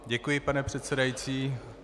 Děkuji, pane předsedající.